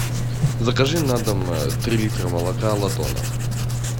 закажи на дом три литра молока латона